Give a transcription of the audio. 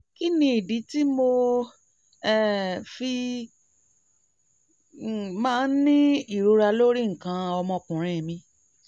kí ni ìdí tí mo um fi um máa ń ní ìrora lórí nǹkan ọmọkùnrin mi?